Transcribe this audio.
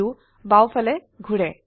view বাও ফালে ঘোৰে